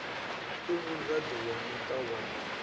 u muraḓo wa muṱa wa